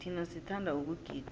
thina sithanda ukugida